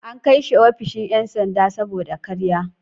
An kai shi ofishin ‘yan sanda saboda karya.